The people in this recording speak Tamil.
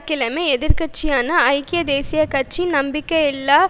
கடந்த வியாழ கிழமை எதிர் கட்சியான ஐக்கிய தேசிய கட்சி நம்பிக்கையில்லாப்